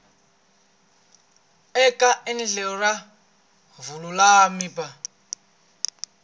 eka endlelo ra vululami bya